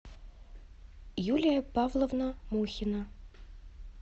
юлия павловна мухина